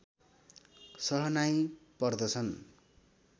सहनाई पर्दछन्